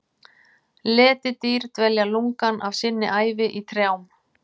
Letidýr dvelja lungann af sinni ævi í trjám.